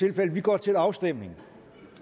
vi går til afstemning